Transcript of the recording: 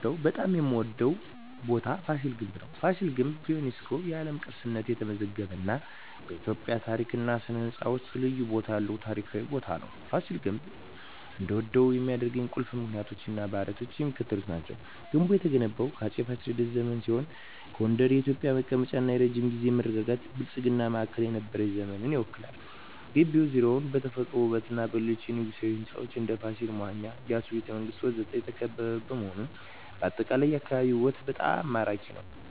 በጣም የምዎደው ቦታ ፋሲል ግንብ ነው። ፋሲል ግንብ በዩኔስኮ የዓለም ቅርስነት የተመዘገበ እና በኢትዮጵያ ታሪክ እና ሥነ ሕንፃ ውስጥ ልዩ ቦታ ያለው ታሪካዊ ቦታ ነው። ፋሲል ግንብ እንድወደው ከሚያደርኝ ቁልፍ ምክንያቶች እና ባህሪያት የሚከተሉት ናቸው። ግንቡ የተገነባው በአፄ ፋሲለደስ ዘመን ሲሆን ጎንደር የኢትዮጵያ መቀመጫ እና የረጅም ጊዜ መረጋጋትና ብልጽግና ማዕከል የነበረችበትን ዘመን ይወክላል። ግቢው ዙሪያውን በተፈጥሮ ውበትና በሌሎች የንጉሣዊ ሕንፃዎች (እንደ ፋሲል መዋኛ፣ የኢያሱ ቤተ መንግስት ወዘተ) የተከበበ በመሆኑ አጠቃላይ የአካባቢው ውበት በጣም ማራኪ ነው። …